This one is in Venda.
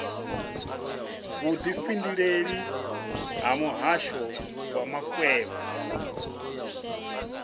vhudifhinduleleli ha muhasho wa makwevho